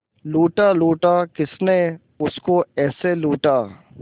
लूटा लूटा किसने उसको ऐसे लूटा